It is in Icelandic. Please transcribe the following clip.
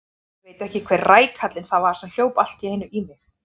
Ég veit ekki hver rækallinn það var sem hljóp allt í einu í mig.